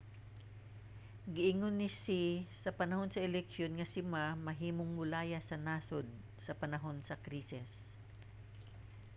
giingon ni hsieh sa panahon sa eleksyon nga si ma mahimong molayas sa nasod sa panahon sa krisis